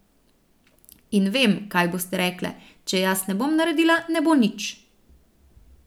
In vem, kaj boste rekle, če jaz ne bom naredila, ne bo nič.